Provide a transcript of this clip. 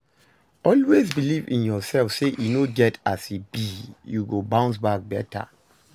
Always beliv in urself say e no get as bi yu go bounce back beta